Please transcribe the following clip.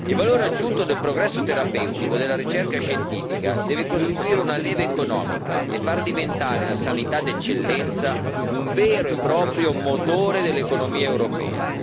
Il valore aggiunto del progresso terapeutico e della ricerca scientifica deve costituire una leva economica e far diventare la sanità d'eccellenza un vero e proprio motore dell'economia europea.